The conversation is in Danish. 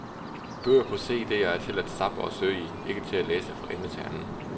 Bøger på cd er til at zappe og søge i, ikke til at læse fra ende til anden.